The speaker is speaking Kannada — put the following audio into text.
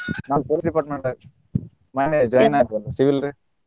ನಾನ್ police department ದಾಗ ಅದೇನ್ರಿ ಮನ್ನೆ join ಆದದ್ದು civil ರೀ.